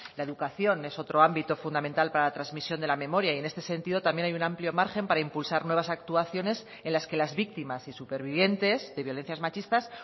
la educación es otro ámbito fundamental para la transmisión de la memoria y en este sentido también hay un amplio margen para impulsar nuevas actuaciones en las que las víctimas y supervivientes de violencias machistas